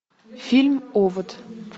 фильм овод